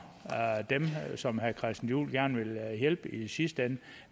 dem som herre christian juhl gerne vil hjælpe i sidste ende